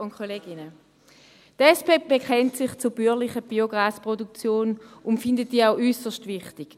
Die SP bekennt sich zur bäuerlichen Biogasproduktion und findet diese auch äusserst wichtig.